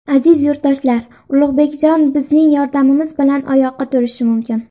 Aziz yurtdoshlar, Ulug‘bekjon bizning yordamimiz bilan oyoqqa turishi mumkin!